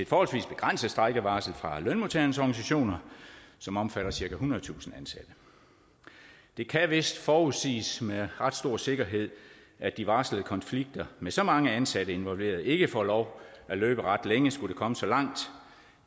forholdsvis begrænset strejkevarsel fra lønmodtagernes organisationer som omfatter cirka ethundredetusind ansatte det kan vist forudsiges med ret stor sikkerhed at de varslede konflikter med så mange ansatte involveret ikke får lov at løbe ret længe skulle komme så langt